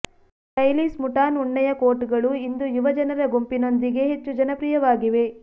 stylish ಮುಟಾನ್ ಉಣ್ಣೆಯ ಕೋಟ್ಗಳು ಇಂದು ಯುವಜನರ ಗುಂಪಿನೊಂದಿಗೆ ಹೆಚ್ಚು ಜನಪ್ರಿಯವಾಗಿವೆ